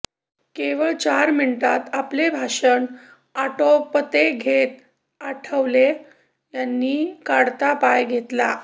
केवळ चार मिनिटांत आपले भाषण आटोपते घेत आठवले यांनी काढता पाय घेतला